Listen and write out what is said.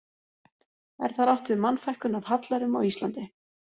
Er þar átt við Mannfækkun af hallærum á Íslandi.